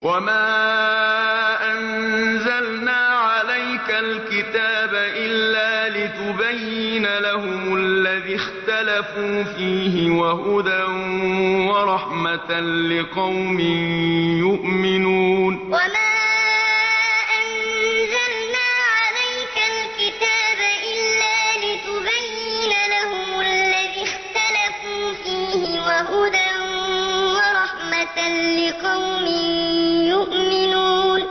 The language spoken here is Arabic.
وَمَا أَنزَلْنَا عَلَيْكَ الْكِتَابَ إِلَّا لِتُبَيِّنَ لَهُمُ الَّذِي اخْتَلَفُوا فِيهِ ۙ وَهُدًى وَرَحْمَةً لِّقَوْمٍ يُؤْمِنُونَ وَمَا أَنزَلْنَا عَلَيْكَ الْكِتَابَ إِلَّا لِتُبَيِّنَ لَهُمُ الَّذِي اخْتَلَفُوا فِيهِ ۙ وَهُدًى وَرَحْمَةً لِّقَوْمٍ يُؤْمِنُونَ